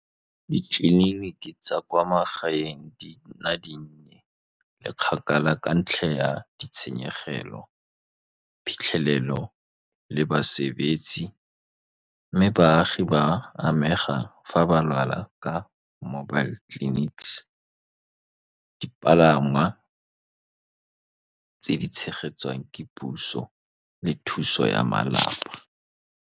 Ditleliniki tsa kwa magaeng di nna dinnye, le kgakala ka ntlha ya ditshenyegelo, phitlhelelo le basebetsi. Mme baagi ba amega fa ba lwala ka mobile clinics, dipalangwa tse di tshegetswang ke puso le thuso ya malapa.